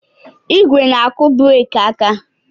ígwè na-akụ breeki aka.